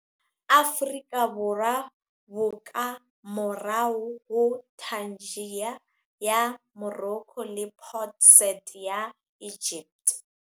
Aforika, bo ka morao ho Tangier ya Morocco le Port Said ya Egypt.